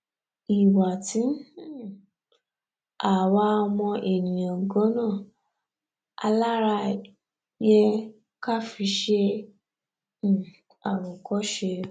ìwà tí um àwa ọmọ ènìà ganan alára yẹ ká fi ṣe um àwòkọṣe